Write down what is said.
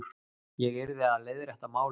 Ég yrði að leiðrétta málið.